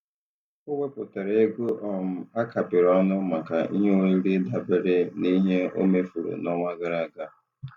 O wepụtara ego um a kapịrị ọnụ maka ihe oriri dabere n'ihe o mefuru n'ọnwa gara aga.